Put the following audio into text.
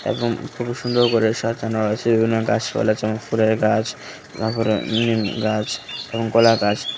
এবং খুব সুন্দর করে সাজানো আছে বিভিন্ন গাছপালা উপরে গাছ তারপরে উঁম গাছ এবং কলা গাছ।